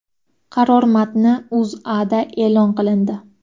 Qaror matni O‘zAda e’lon qilindi .